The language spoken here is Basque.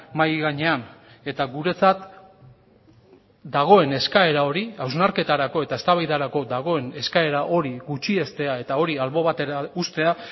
mahai gainean eta guretzat dagoen eskaera hori hausnarketarako eta eztabaidarako dagoen eskaera hori gutxiestea eta hori albo batera uztea